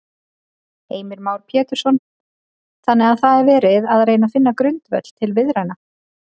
Heimir Már Pétursson: Þannig að það er verið að reyna finna grundvöll til viðræðna?